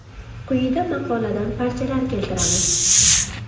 Quyida maqoladan parchalar keltiramiz.